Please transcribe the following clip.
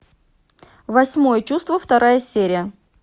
восьмое чувство вторая серия